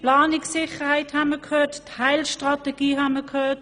von Planungssicherheit und Teilstrategien haben wir gehört.